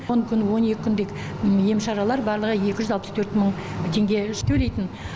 он күн он екі күндік ем шаралар барлығы екі жүз алпыс төрт мың теңге төлейтін